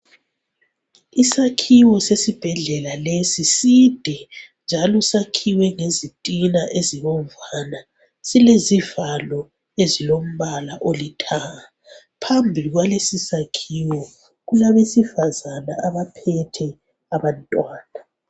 Isakhiwo sesibhedlela lesi side njalo sakhiwe ngezitina ezibomvana silezivalo ezilombala olithanga phambili kwalesi sakhiwo kulabesifazane abaphethe abantwana.